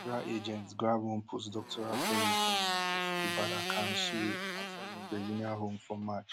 federal agents grab one postdoctoral fellow from di university badar khan suri outside im virginia home for march